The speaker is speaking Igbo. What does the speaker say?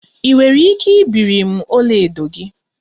Ị nwere ike ibiri m ọlaedo gị?